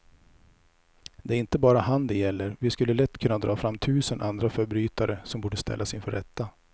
Det är inte bara han det gäller, vi skulle lätt kunna dra fram tusen andra förbrytare som borde ställas inför rätta.